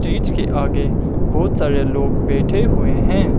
इसके आगे बहोत सारे लोग बैठे हुए हैं।